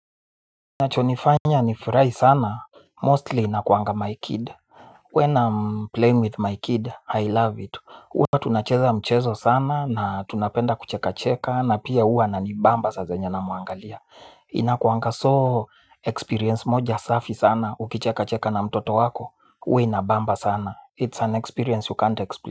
Inacho nifanya ni furahi sana, mostly inakuanga my kid. When I'm playing with my kid, I love it huwa tunacheza mchezo sana na tunapenda kucheka cheka. Na pia huwa anani bamba saa zenye namuangalia. Inakuanga so experience moja safi sana. Ukicheka cheka na mtoto wako, huwa inabamba sana. It's an experience you can't explain.